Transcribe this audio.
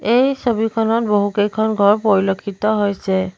এই ছবিখনত বহুকেইখন ঘৰ পৰিলক্ষিত হৈছে।